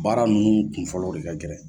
Baara ninnu kunfɔlɔw de ka gɛlɛ.